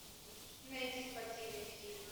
найди спортивный фильм